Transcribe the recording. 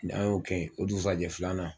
Mɛ an y'o kɛ yen ,o dugusajɛ filanan